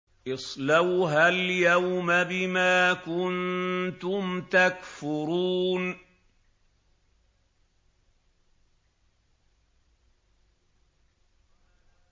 اصْلَوْهَا الْيَوْمَ بِمَا كُنتُمْ تَكْفُرُونَ